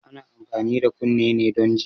Ana amfani da kunne ne don ji